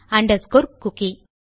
underscore cookie